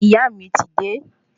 Ìyá mí ti de